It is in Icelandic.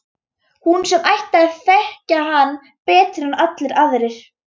Hún sem ætti að þekkja hann betur en allir aðrir.